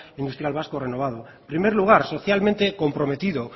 industrial vasco renovado en primer lugar socialmente comprometido